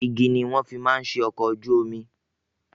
Igi ni wọ́n fi máa ń ṣe ọkọ̀ ojú omi.